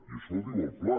i això ho diu el pla